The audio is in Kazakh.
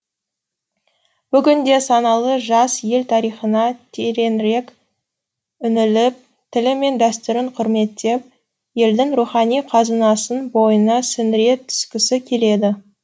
бүгінде саналы жас ел тарихына тереңірек үңіліп тілі мен дәстүрін құрметтеп елдің рухани қазынасын бойына сіңіре түскісі келеді